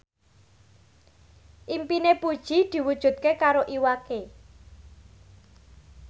impine Puji diwujudke karo Iwa K